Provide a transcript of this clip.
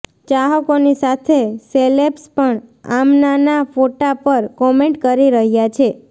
ચાહકોની સાથે સેલેબ્સ પણ આમનાના ફોટા પર કોમેન્ટ કરી રહ્યા છે